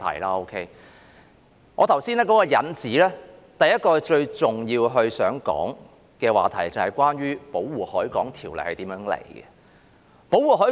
在我剛才提出的引子中，第一個最重要想談論的話題，就是關於《條例》的起源。